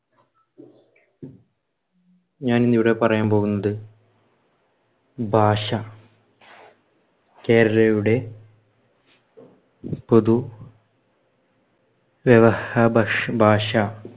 ഞാൻ ഇന്നിവിടെ പറയാൻ പോകുന്നത് ഭാഷ കേരളീയരുടെ പൊതു വ്യവഹ ഭഷ് ഭാഷ.